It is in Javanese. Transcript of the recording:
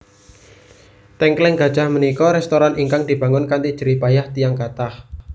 Tengkleng Gajah menika restoran ingkang dibangun kanthi jerih payah tiyang kathah